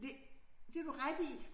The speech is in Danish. Det det har du ret i